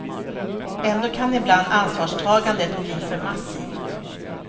Ändå kan ibland ansvarstagandet bli för massivt.